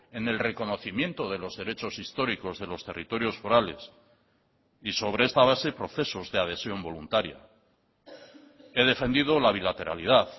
en el reconocimiento de los derechos históricos de los territorios forales y sobre esta base procesos de adhesión voluntaria he defendido la bilateralidad